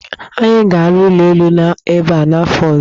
Anyị ga-arụ ụlọ elu ebe a n'afọ ọzọ.